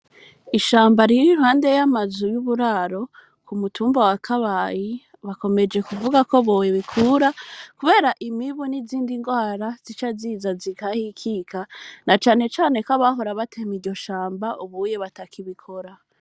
Ishamba riire iruhande y'amazu y'uburaro ku mutumba wa kabayi bakomeje kuvuga ko bowe bikura, kubera imibu n'izindi ndwara zica ziza zikahikika na canecane ko abahora batema iryo shamba ubuye batakibikora.